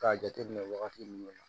K'a jate minɛ wagati minnu na